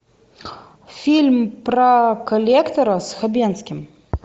фильм про коллектора с хабенским